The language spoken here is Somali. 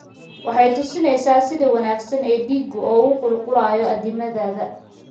Waxay tusinaysaa sida wanaagsan ee dhiiggu ugu qulqulayo addimadaada.